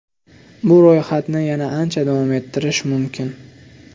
Bu ro‘yxatni yana ancha davom ettirish mumkin.